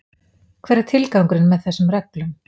Hver er tilgangurinn með þessum reglum?